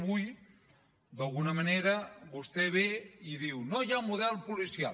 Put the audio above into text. avui d’alguna manera vostè ve i diu no hi ha model policial